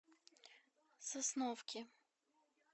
сосновки